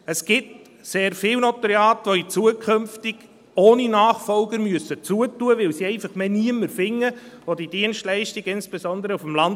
Es gibt sehr viele Notariate, die zukünftig ohne Nachfolger schliessen müssen, weil sie einfach niemanden mehr finden, der diese Dienstleistung anbietet, insbesondere auf dem Land.